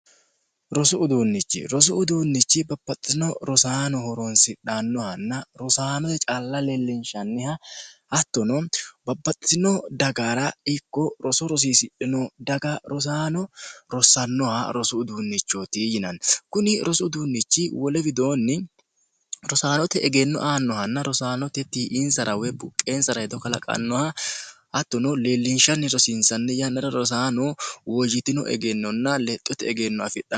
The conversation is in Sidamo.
rosu uduunnichi rosu uduunnichi bapaxxisino rosaanoho ronsidhannohanna rosaanote calla leellinshanniha hattono babaxxitino dagaara ikko roso rosiisidhino daga rosaano rosannoha rosu uduunnichooti yinanni kuni rosu uduunnichi wole widoonni rosaanote egenno aannohanna rosaanotettihi iinsara we buqqeensara hedo kalaqannoha hattono leellinshanni rosiinsanni yannara rosaano woojitino egennonna lexxote egenno afidhno